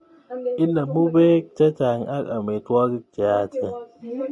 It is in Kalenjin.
Inemu bek chechang ak amitwogik cheyaachen